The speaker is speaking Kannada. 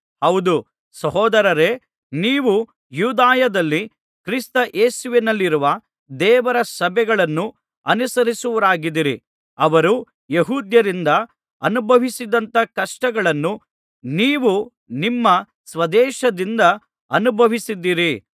ಹೌದು ಸಹೋದರರೇ ನೀವು ಯೂದಾಯದಲ್ಲಿ ಕ್ರಿಸ್ತ ಯೇಸುವಿನಲ್ಲಿರುವ ದೇವರ ಸಭೆಗಳನ್ನು ಅನುಸರಿಸುವವರಾಗಿದ್ದಿರಿ ಅವರು ಯೆಹೂದ್ಯರಿಂದ ಅನುಭವಿಸಿದಂಥ ಕಷ್ಟಗಳನ್ನು ನೀವೂ ನಿಮ್ಮ ಸ್ವದೇಶದವರಿಂದ ಅನುಭವಿಸಿದಿರಿ